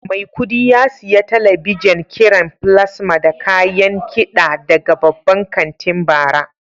Maikudi ya siya talabijen kiran plasma da kayan kiɗa daga babban kantin bara.